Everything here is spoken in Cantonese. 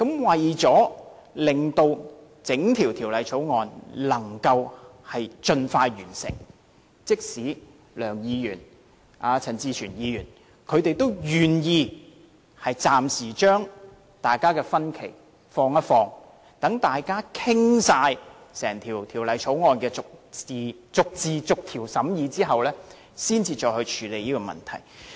為了令整項《條例草案》的審議工作能盡快完成，即使是梁國雄議員和陳志全議員，他們也願意暫時把大家的分歧放下，待大家完全把整項《條例草案》逐字逐條審議完畢後，才再處理這個問題。